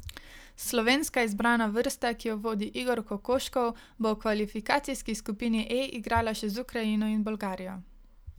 Slovenska izbrana vrsta, ki jo vodi Igor Kokoškov, bo v kvalifikacijski skupini E igrala še z Ukrajino in Bolgarijo.